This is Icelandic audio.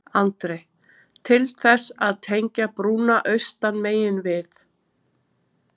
Andri: Til þess að tengja brúnna austan megin við?